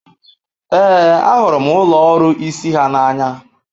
Ee, ahụrụ m ụlọ ọrụ isi ha n'anya.